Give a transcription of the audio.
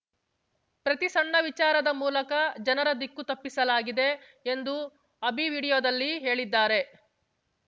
ಪ್ರತಿ ಸಣ್ಣ ವಿಚಾರದ ಮೂಲಕ ಜನರ ದಿಕ್ಕು ತಪ್ಪಿಸಲಾಗಿದೆ ಎಂದು ಅಭಿ ವಿಡಿಯೋದಲ್ಲಿ ಹೇಳಿದ್ದಾರೆ